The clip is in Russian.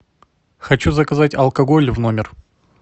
хочу заказать алкоголь в номер